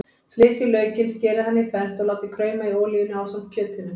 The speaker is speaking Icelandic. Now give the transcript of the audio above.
Flysjið laukinn, skerið hann í fernt og látið krauma í olíunni ásamt kjötinu.